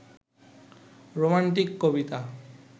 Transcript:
romantic Kabita